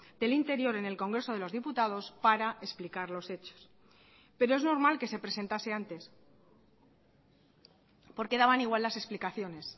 del interior en el congreso de los diputados para explicar los hechos pero es normal que se presentase antes porque daban igual las explicaciones